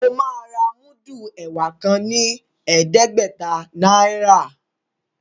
O ma rà mudu ẹwà kán ní ẹdẹgbẹta náírà.